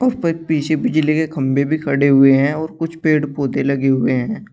ऊपर पीछे बिजली के खंभे भी खड़े हुए हैं और कुछ पेड़ पौधे लगे हुए हैं।